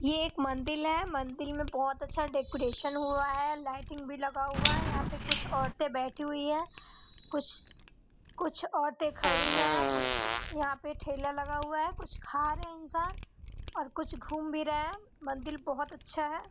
ये एक मंदिर है मंदिर में बहुत अच्छा डेकोरेशन हुआ है लाइटिंग भी लगा हुआ है यहां पे कुछ औरतें बैठी हुई है कुछ कुछ औरतें खड़ी हैं कुछ यहाँ पे ठेला लगा हुआ हैं कुछ खा रहे हैं इंसान और कुछ घूम भी रहे हैं मंदिर बहोत ही अच्छा हैं।